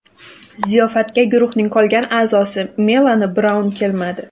Ziyofatga guruhning qolgan a’zosi Melani Braun kelmadi.